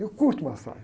Eu curto massagem.